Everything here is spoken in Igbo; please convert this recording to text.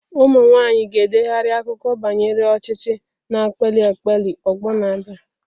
Ụmụ nwanyị ga-edegharị akụkọ banyere ọchịchị, na-akpali akpali ọgbọ na-abịa.